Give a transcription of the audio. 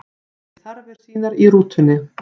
Gerði þarfir sínar í rútunni